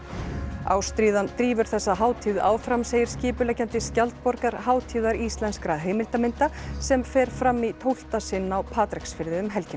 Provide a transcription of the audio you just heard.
ástríðan drífur þessa hátíð áfram segir skipuleggjandi skjaldborgar hátíðar íslenskra heimildarmynda sem fer fram í tólfta sinn á Patreksfirði um helgina